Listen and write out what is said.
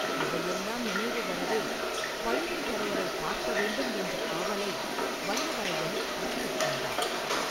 இவையெல்லாம் நினைவு வரவே, பழுவேட்டரையரைப் பார்க்க வேண்டும் என்ற ஆவலை வல்லவரையன் அடக்கிக் கொண்டான்.